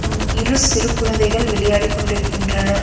ம் இரு சிறு குழந்தைகள் விளையாடிக் கொண்டிருக்கின்றன.